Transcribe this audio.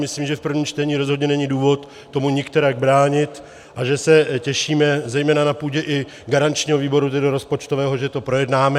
Myslím, že v prvním čtení rozhodně není důvod tomu nikterak bránit a že se těšíme zejména na půdě i garančního výboru, tedy rozpočtového, že to projednáme.